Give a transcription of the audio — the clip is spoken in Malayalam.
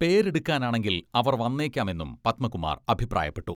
പേരെടുക്കാനാണെങ്കിൽ അവർ വന്നേക്കാമെന്നും പത്മകുമാർ അഭിപ്രായപ്പെട്ടു.